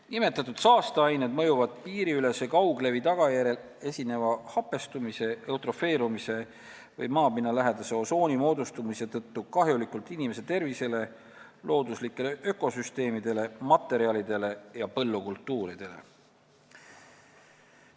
Nimetatud saasteained mõjuvad piiriülese kauglevi tagajärjel esineva hapestumise, eutrofeerumise või maapinnalähedase osooni moodustumise tõttu kahjulikult inimese tervisele, looduslikele ökosüsteemidele, materjalidele ja põllukultuuridele.